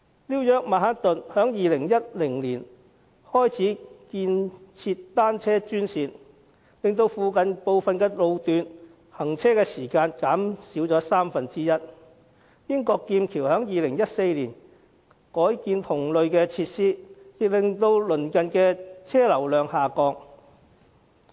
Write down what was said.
紐約曼克頓在2010年開始建設單車專線，令附近部分路段的行車時間減少三分之一；英國劍橋在2014年改建同類設施，令鄰近車流量下降。